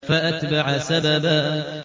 فَأَتْبَعَ سَبَبًا